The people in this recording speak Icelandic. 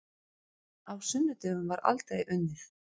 Á sunnudögum var aldrei unnið.